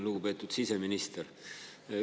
Lugupeetud siseminister!